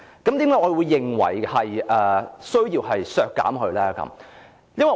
為何我認為有需要削減呢？